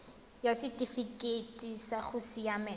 ya setifikeite sa go siamela